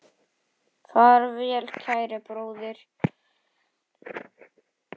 Far vel kæri bróðir.